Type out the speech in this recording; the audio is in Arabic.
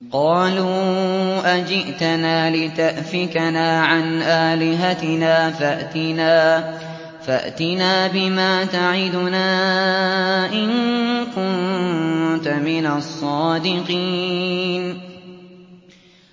قَالُوا أَجِئْتَنَا لِتَأْفِكَنَا عَنْ آلِهَتِنَا فَأْتِنَا بِمَا تَعِدُنَا إِن كُنتَ مِنَ الصَّادِقِينَ